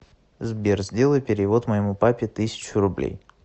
сбер сделай перевод моему папе тысячу рублей